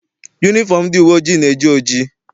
Yunifọm ndị uwe ojii na-eji oji.